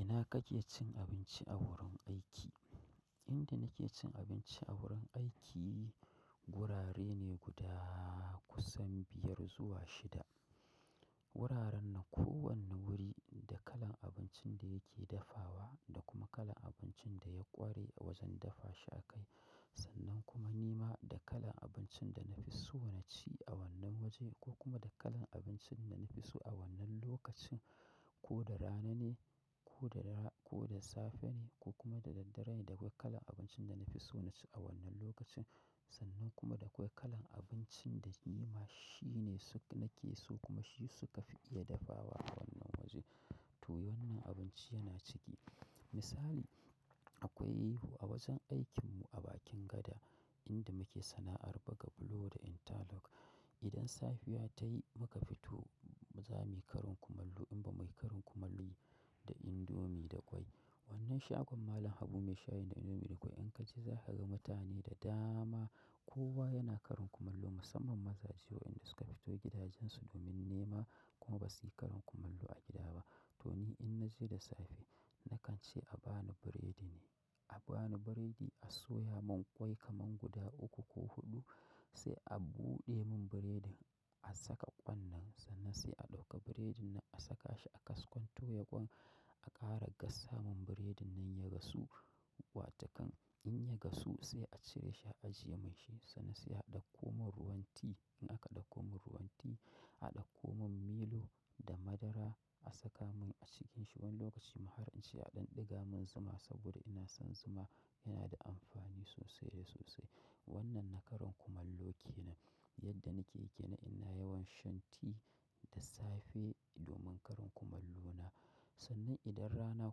Ina kake cin abinci a gurin aiki? Inda nake cin abinci a gurin aiki gurare ne guda kusan biyar zuwa shida. Guraren nan kowanne guri da kalan abincin da yake dafawa da kuma kalan abincin da ya ƙware wajen dafa shi a kai. Sannan kuma ni ma da kalan abincin da na fi so na ci a wannan waje ko kuma da kalan abincin da na fi so a wannan lokacin, ko da rana ne, ko da safe ne ko kuma da daddare da akwai kalan abincin da na fi so na ci a wannan lokacin. Sannan kuma da akwai kalan abincin da ni ma shi ne nake so kuma shi suka fi iya dafawa a wannan waje. To wannan abinci yana ciki. Misali akwai a wajen aikinmu a bakin gada inda muke sana'ar buga bulo da interlock. Idan safiya ta yi muka fito, za muyi karin kumallo in ba muyi karin kumallo da indomi da ƙwai. Wannan shagon Malam Habu mai shayin da indomi da ƙwai in ka je za ka ga mutane da dama. Kowa yana karin kumallo musamman mazaje wa inda suka fito gidajensu domin nema kuma ba su yi karin kumallo a gida ba. To ni in naje da safe nakan ce a bani buredi ne. A ba ni biredi, a soya mun ƙwai kaman guda uku ko huɗu sai a buɗe mun biredin a saka ƙwan nan sannan sai a ɗauka biredin nan a saka shi a kaskon toya kwan a ƙara gasa mun biredin nan ya gasu. Wato kan in ya gasu sai a cire shi a ajiye mun shi sannan sai a ɗauko mun ruwan ti. In aka ɗauko mun ruwan tea, a ɗauko mun milo da madara a saka mun a cikinsa. Wani lokaci ma har in ce a ɗan ɗiga mun zuma saboda ina son zuma yana da amfani sosai da sosai. Wannan na karin kumallo ke nan. Yadda nake yi kenan ina yawan shan tea da safe domin karin kumallo na. Sannan idan rana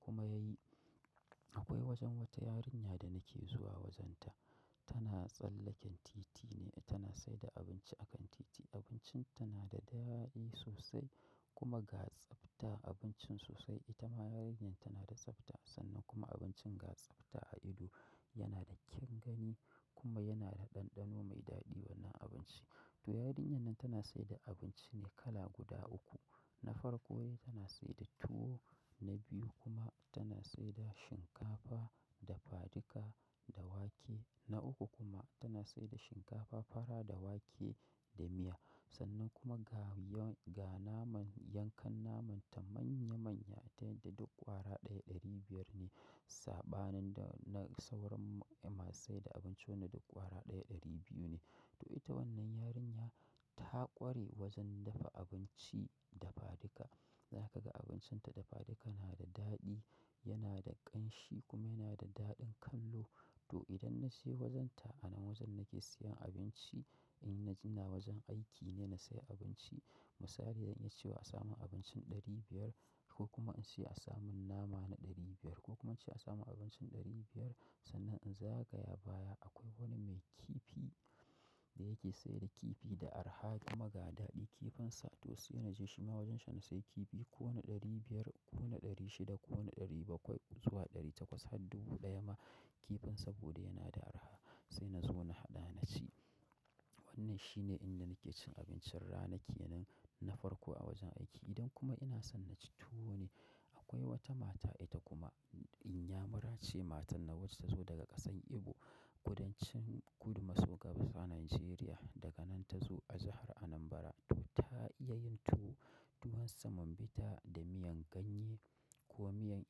kuma ya yi, akwai wajen wata yarinya da nake zuwa wajenta. Tana tsallaken titi ne, tana saida abinci a kan titi. Abincin tana da daɗi sosai kuma ga tsabta abincin sosai. Ita ma yarinyar tana da tsabta sannan kuma abincin ga tsabta a ido yana da kyan gani kuma yana da ɗanɗano mai daɗi wannan abinci. To yarinyar nan tana saida abinci ne kala guda uku. Na farko de tana saida tuwo, na biyu kuma tana saida shinkafa dafadika da wake. Na uku kuma tana saida shinkafa fara da wake da miya. Sannan kuma ga naman yankan naman ta manya-manya ta yadda duk ƙwara ɗaya ɗari biyar ne. Saɓanin da na sauran masu saida abinci wanda duk ƙwara ɗaya ɗari biyu ne. To ita wannan yarinya ta ƙware wajen dafa abinci dafadika. Zaka ga abincin ta dafadika yana da daɗi, yana da ƙanshi kuma yana da daɗin kallo. To idan na je wajenta a nan wajen nake siyan abinci in na ji na wajen aiki ne na sayi abinci. Misali zan iya ce wa a samin abincin ɗari biyar ko kuma in ce a samun nama na ɗari biyar ko kuma in ce a samun abincin ɗari biyar sannan in zagaya baya akwai wani mai kifi da yake saida kifi da arha kuma ga daɗin kifinsa. To sai na je shi ma wajen shi na sayi kifi ko wani ɗari biyar ko na ɗari shida ko na ɗari bakwai zuwa ɗari takwas har dubu ɗaya ma kifinsa saboda yana da arha. Sai na zo na haɗa na ci. Wannan shi ne inda nake cin abincin rana ke nan na farko a wajen aiki. Idan kuma ina son na ci tuwo ne akwai wata mata ita kuma inyamurace matan nan wacce ta zo daga ƙasan Igbo, kudancin kudu maso gabas a Najeriya. Daga nan ta zo a jihar Anambra. To ta iya yin tuwo tuwon samon bita da miyan ganye ko miyan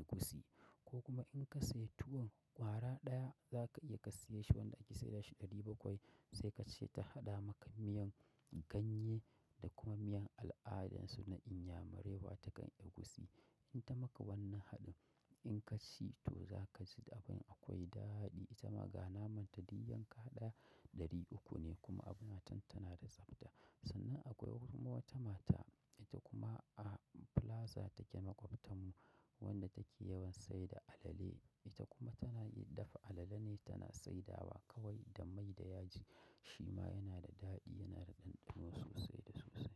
egusi ko kuma in ka sayi tuwon ƙwara ɗaya za ka iya ka saye shi wanda ake saida shi ɗari bakwai sai ka ce ta haɗa maka miyan ganye da kuma miyan al'adarsu na inyamure wata kan egusi. In ta maka wannan haɗin in ka ci to za ka ji akwai daɗi. Ita ma ga naman ta dai yanka ɗaya ɗari uku ne kuma abun matar tana da tsabta. Sannan akwai kuma wata mata ita kuma a plaza take makwotakan mu wadda take yawan saida alale. Ita kuma tana iya dafa alale ne tana saidawa kawai da mai da yaji. Shi ma yana da daɗi yana da ɗanɗano sosai da sosai.